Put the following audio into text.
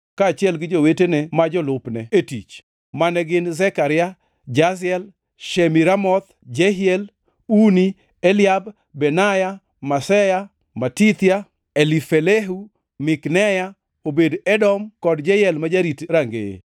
kaachiel gi jowetene ma jolupne e tich, mane gin: Zekaria, Jaziel, Shemiramoth, Jehiel, Uni, Eliab, Benaya, Maseya, Matithia, Elifelehu, Mikneya, Obed-Edom kod Jeyel ma jorit rangeye.